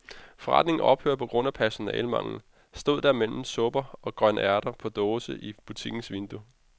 Forretningen ophører på grund af personalemangel, stod der mellem supper og grønærter på dåse i butikkens vindue.